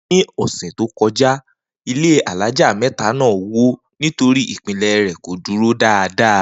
Ni ò̩sè̩ tó ko̩já, ilé alája mé̩ta náà wó nítorí ìpìnlè̩ rè̩ kò dúró dáadáa